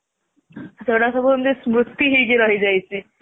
ସେଇଗୁରା ସବୁ ସ୍ମୁତି ହେଇକି ରହି ଯାଇଛି